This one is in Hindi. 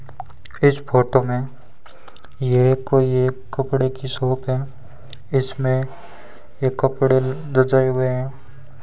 इस फोटो में ये कोई एक कपड़े की शॉप है इसमें एक कपड़े रजाए हुए हैं।